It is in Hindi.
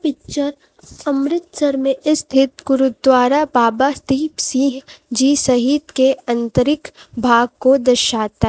पिक्चर अमृतसर में स्थित गुरुद्वारा बाबा दीप सिंह जी सहित के आंतरिक भाग को दर्शाता--